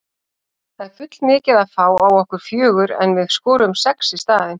Það er full mikið að fá á okkur fjögur en við skoruðum sex í staðinn.